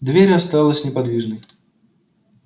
дверь осталась неподвижной